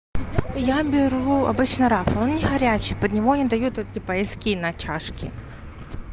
я беру обычно раф он не горячий под него не дают вот типа эски на чашки